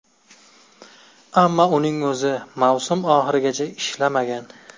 Ammo uning o‘zi mavsum oxirigacha ishlamagan.